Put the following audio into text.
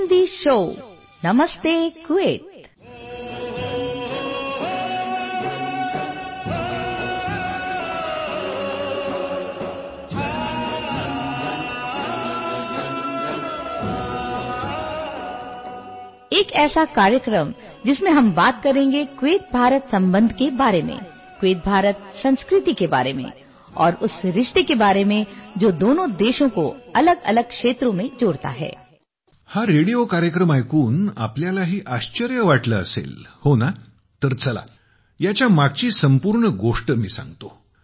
हा रेडिओ कार्यक्रम ऐकून तुम्हालाही आश्चर्य वाटले असेल हो ना तर चला याच्या मागची संपूर्ण गोष्ट सांगतो